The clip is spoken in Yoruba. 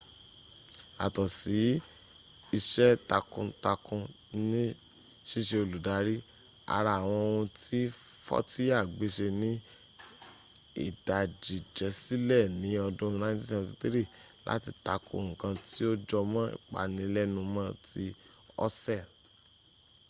yàtọ̀ ise takun takun ni ṣíṣe olùdarí ara àwọn ohun tí fọ́tíyà gbéṣe ni ìdájíjẹsílẹ̀ ní ọdún 1973 láti takò nkan tí ó jọmọ́ ìpanilẹ́numọ́ ti òṣèl